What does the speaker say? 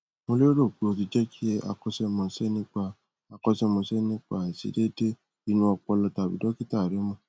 mo lérò pé o ti jẹ kí akọṣẹmọṣẹ nípa akọṣẹmọṣẹ nípa àìṣedéédé inú ọpọlọ tàbí dọkítà rẹ mọ